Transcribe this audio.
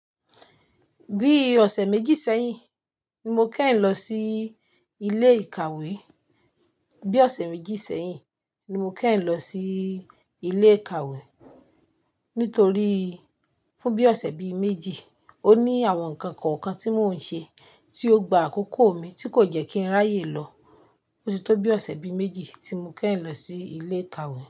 Bí ọ̀sẹ̀ méjì sẹ́yìn ni mo kẹ́yìn lọ sí ilé ìkàwé. Bí ọ̀sẹ̀ méjì sẹ́yìn ni mo kẹ́hin lọ sí ilé ìkàwé. Nítorí fún bí ọ̀sẹ̀ bíi méjì, ó ní àwọn ǹkan kọ̀ọ̀kan tí mò ń ṣe, tí ó gba àkókò mi, tí kò jẹ́ kí n ráyè lọ. Ó ti tó bí ọ̀sẹ̀ bíi méjì tí mo kẹ́hin lọ sí ilé ìkàwé.